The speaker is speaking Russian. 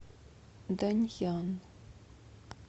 даньян